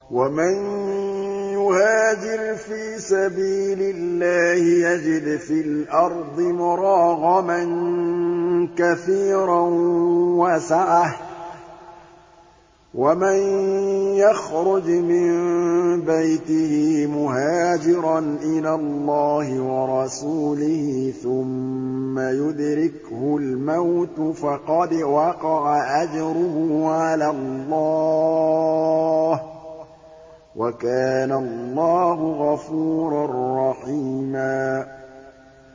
۞ وَمَن يُهَاجِرْ فِي سَبِيلِ اللَّهِ يَجِدْ فِي الْأَرْضِ مُرَاغَمًا كَثِيرًا وَسَعَةً ۚ وَمَن يَخْرُجْ مِن بَيْتِهِ مُهَاجِرًا إِلَى اللَّهِ وَرَسُولِهِ ثُمَّ يُدْرِكْهُ الْمَوْتُ فَقَدْ وَقَعَ أَجْرُهُ عَلَى اللَّهِ ۗ وَكَانَ اللَّهُ غَفُورًا رَّحِيمًا